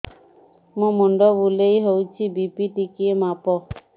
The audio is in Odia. ମୋ ମୁଣ୍ଡ ବୁଲେଇ ହଉଚି ବି.ପି ଟିକେ ମାପ